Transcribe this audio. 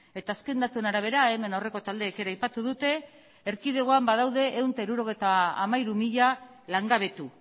eta azken datuen arabera hemen aurreko taldeek ere aipatu dute erkidegoan badaude ehun eta hirurogeita hamairu mila langabetu